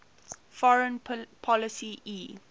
foreign policy e